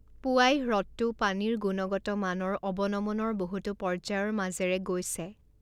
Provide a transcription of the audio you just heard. পোৱাই হ্ৰদটো পানীৰ গুণগত মানৰ অৱনমনৰ বহুতো পৰ্যায়ৰ মাজেৰে গৈছে।